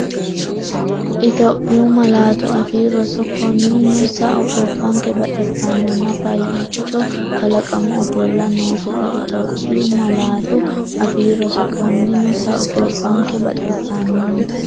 Itophiyu Malaatu Afii Roso Konninnino sao, gobbanke baxisannonna faayyiccuo kalaqamu ofolla noosete Itophiyu Malaatu Afii Roso Konninnino sao, gobbanke baxisannonna.